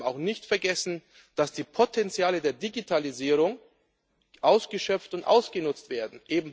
Und wir dürfen auch nicht vergessen, dass die Potenziale der Digitalisierung ausgeschöpft und ausgenutzt werden.